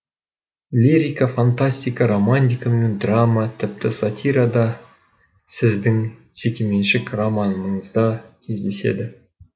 лирика фантастика романтика мен драма тіпті сатирада сіздің жекеменшік романыңызда кездеседі